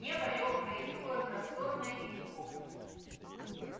небо лёгкое и такое просторное и глубокое